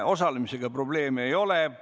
Osalemisega probleeme ei ole.